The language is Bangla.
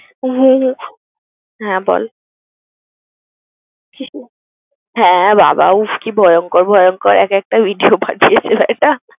হু হু হ্যাঁ বল। হ্যাঁ বাবা উফ কি ভয়ঙ্কর ভয়ঙ্কর এক একটা video পাঠিয়েছে ব্যাটা।